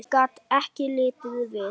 Ég gat ekki litið við.